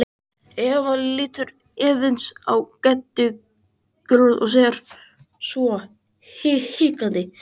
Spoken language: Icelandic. Eva lítur efins á Geddu gulrót og segir svo hikandi.